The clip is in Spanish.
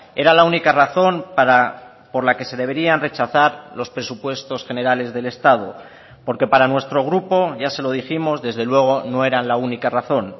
era la única razón por la que se deberían rechazar los presupuestos generales del estado porque para nuestro grupo ya se lo dijimos desde luego no era la única razón